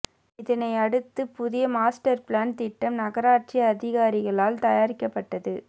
இதனை அடுத்து புதிய மாஸ்டர் பிளான் திட்டம் நகராட்சி அதிகாரிகளால் தயாரிக்கப்பட்டது